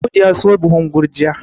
Audu ya siyo buhun gurjiya